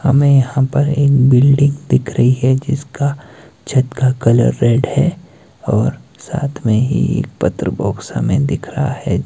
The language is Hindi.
हमें यहां पर एक बिल्डिंग दिख रही है जिसका छत का कलर रेड है और साथ में ही एक पत्र बॉक्स हमें दिख रहा है।